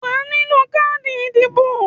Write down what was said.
Wàá nílò káàdì ìdìbò